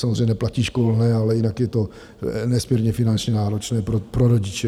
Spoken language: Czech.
Samozřejmě neplatí školné, ale jinak je to nesmírně finančně náročné pro rodiče.